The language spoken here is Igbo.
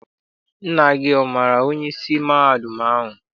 Nna gị amaara onyeisi mahadum ahụ?